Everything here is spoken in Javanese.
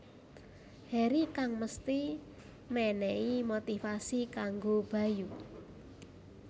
Heri kang mesthi mènèhi motivasi kanggo Bayu